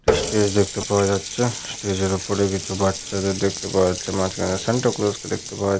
একটি স্টেজ দেখতে পাওয়া যাচ্ছে । স্টেজ -এর ওপরে কিছু বাচ্চাদের দেখতে পাওয়া যাচ্ছে। মাঝখানে সান্তা ক্লস -কে দেখতে পাওয়া--